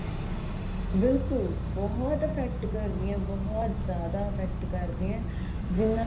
ਬਿਲਕੁਲ ਬਹੁਤ effect ਕਰਦੀਆਂ ਬਹੁਤ ਜਿਆਦਾ effect ਕਰਦੀਆ ਜਿੰਨਾ